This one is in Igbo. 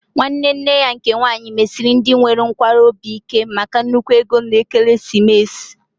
Nwanne nne ya nke nwaanyị mesiri ndị nwere nkwarụ obi ike maka nnukwu ego na ekeresimesi